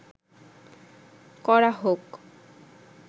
করা হোক